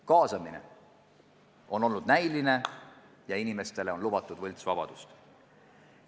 Kaasamine on olnud näiline ja inimestele on lubatud võltsvabadust.